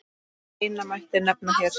Eina mætti nefna hér.